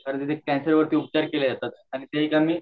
तर्र तिथ कैंसर वरती उपचार